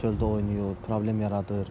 Uşaqlar çöldə oynayır, problem yaradır.